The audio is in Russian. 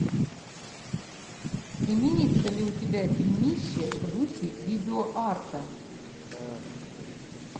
имеется ли у тебя фильмище в духе видеоарта